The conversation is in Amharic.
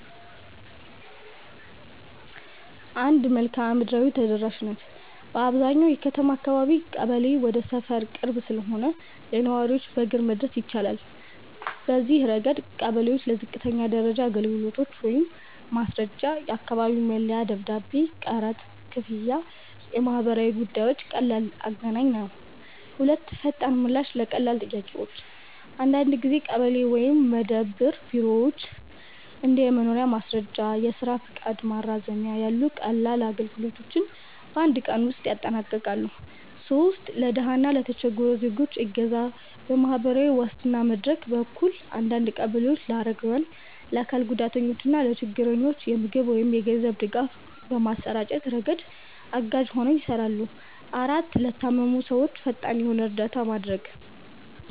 1. መልክዓ ምድራዊ ተደራሽነት - በአብዛኛዎቹ የከተማ አካባቢዎች ቀበሌ ወደ ሰፈር ቅርብ ስለሆነ ለነዋሪዎች በእግር መድረስ ይቻላል። በዚህ ረገድ ቀበሌ ለዝቅተኛ ደረጃ አገልግሎቶች (ማስረጃ፣ የአካባቢ መለያ ደብዳቤ፣ ቀረጥ ክፍያ፣ የማህበረሰብ ጉዳዮች) ቀላል አገናኝ ነው። 2. ፈጣን ምላሽ ለቀላል ጥያቄዎች - አንዳንድ ጊዜ ቀበሌ ወይም መደብር ቢሮዎች እንደ የመኖሪያ ማስረጃ፣ የስራ ፈቃድ ማራዘሚያ ያሉ ቀላል አገልግሎቶችን በአንድ ቀን ውስጥ ያጠናቅቃሉ። 3. ለድሃ እና ለተቸገሩ ዜጎች እገዛ - በማህበራዊ ዋስትና መድረክ በኩል አንዳንድ ቀበሌዎች ለአረጋውያን፣ ለአካል ጉዳተኞች እና ለችግረኞች የምግብ ወይም የገንዘብ ድጋፍ በማሰራጨት ረገድ አጋዥ ሆነው ይሰራሉ። 4, ለታመሙ ሰዎች ፈጣን የሆነ እርዳታ ማድረግ